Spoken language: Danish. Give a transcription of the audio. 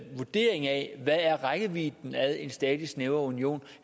vurdering af hvad rækkevidden af en stadig snævrere union